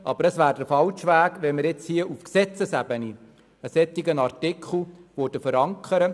Es wäre jedoch der falsche Weg, nun auf Gesetzesebene einen solchen Artikel zu verankern.